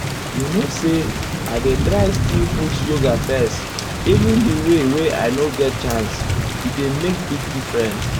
you know say i dey try to still put yoga first even di day wey i nor get chance -- e dey make big difference.